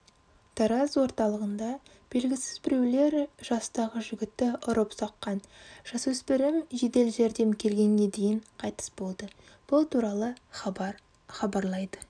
тараз орталығында белгісіз біреулер жастағы жігітті ұрып соққан жасөспірім жедел жәрдем клегенге дейін қайтыс болды бұл туралы хабар хабарлайды